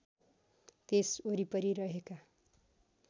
त्यस वरिपरि रहेका